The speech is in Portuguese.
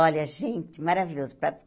Olha, gente, maravilhoso. Para